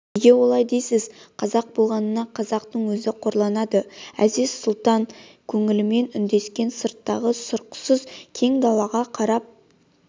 неге олай дейсіз қазақ болғанына қазақтың өзі қорланады әзиз-сұлтан көңілмен үндескен сырттағы сұрықсыз кең далаға қарап